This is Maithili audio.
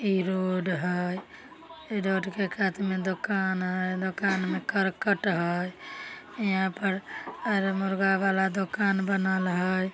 इ रोड हय। इ रोड के कात में दोकान हय। दोकान में करकट हय। यहाँ पर अर मुर्गा बाला दोकान बनल हय।